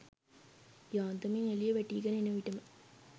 යාන්තමින් එලිය වැටීගෙන එනවිටම